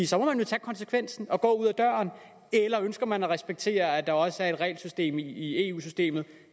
så må man jo tage konsekvensen og gå ud ad døren eller ønsker man at respektere at der også er et regelsystem i eu systemet